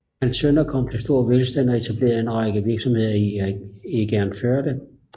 Hans sønner kom til stor velstand og etablerede en række virksomheder i Egernførde